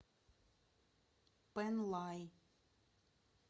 пэнлай